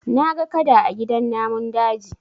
Na ga Kada a gidan namun daji